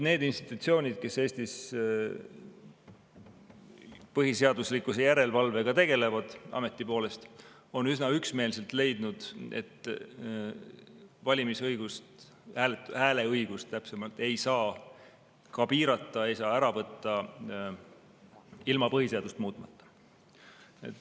Need institutsioonid, kes Eestis ameti poolest põhiseaduslikkuse järelevalvega tegelevad, on üsna üksmeelselt leidnud, et valimisõigust või täpsemalt hääleõigust ei saa ka piirata, ei saa ära võtta ilma põhiseadust muutmata.